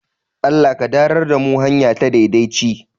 Allah ka darar da mu hanya ta daidaci